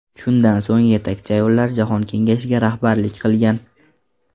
Shundan so‘ng Yetakchi ayollar jahon kengashiga rahbarlik qilgan.